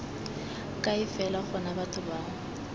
kae fela gona batho bao